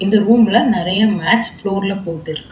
இந்த ரூம்ல நெறையா மேட்ஸ் ஃப்ளோர்ல போட்டிருக்கா.